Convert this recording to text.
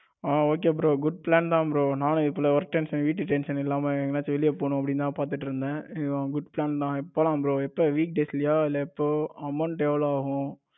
ஆ okay bro good plan தா bro நானும் work tension வீட்டு tension இல்லாம எங்கையாசும் வெளிய போனுன்னு அப்டிதான் பாத்துட்டு இருந்தேன். good plan தான் போலாம் bro எப்போ week days லைய இல்லை எப்போ amount எவ்வளவு ஆகும்?